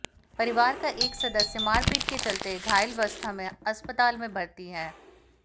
परिवार का एक सदस्य मारपीट के चलते घायलावस्था में अस्पताल में भर्ती है